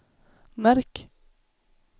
märk